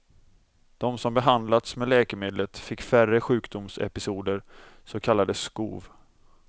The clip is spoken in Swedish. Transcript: De som behandlats med läkemedlet fick färre sjukdomsepisoder, så kallade skov.